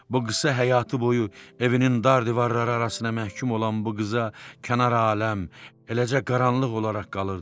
Bu qısa həyatı boyu evinin dar divarları arasına məhkum olan bu qıza kənar aləm, eləcə qaranlıq olaraq qalırdı.